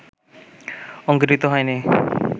অঙ্কুরিত হয় নি